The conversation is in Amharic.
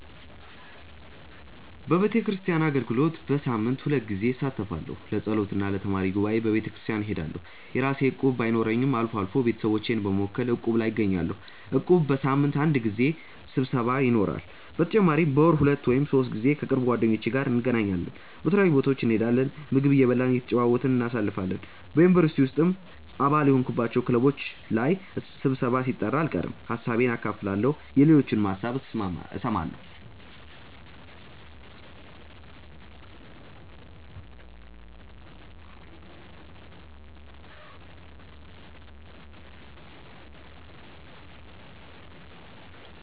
በቤተክርስቲያን አገልግሎት በሳምንት ሁለት ጊዜ እሳተፋለሁ። ለጸሎት እና ለተማሪ ጉባኤ በቤተክርስቲያን እሄዳለሁ። የራሴ እቁብ ባይኖረኝም አልፎ አልፎ ቤተሰቦቼን በመወከል እቁብ ላይ እገኛለሁ። እቁቡ በሳምንት አንድ ጊዜ ስብሰባ ይኖረዋል። በተጨማሪም በወር ሁለት ወይም ሶስት ጊዜ ከቅርብ ጓደኞቼ ጋር እንገናኛለን። የተለያዩ ቦታዎች እንሄዳለን፣ ምግብ እየበላን እየተጨዋወትን እናሳልፋለን። በ ዩኒቨርሲቲ ውስጥም አባል የሆንኩባቸው ክለቦች ላይ ስብሰባም ሲጠራ አልቀርም። ሀሳቤን አካፍላለሁ የሌሎችንም ሀሳብ እሰማለሁ።